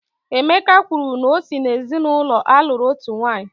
Emeka kwuru na o si n'ezinaụlọ a lụrụ otu nwanyị